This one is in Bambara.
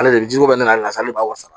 Ale de jɛgɛ bɛ nas'a de b'a san